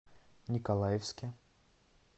николаевске